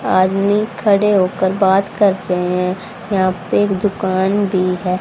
आदमी खड़े होकर बात कर रहे हैं यहां पे एक दुकान भी है।